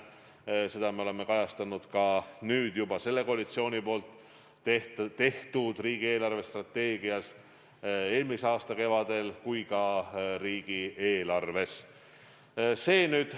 Ja seda me oleme kajastanud ka koalitsiooni tehtud riigi eelarvestrateegias eelmise aasta kevadel ja ka riigieelarves.